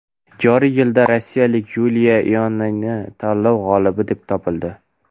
Joriy yilda rossiyalik Yuliya Ionina tanlov g‘olibi deb topildi.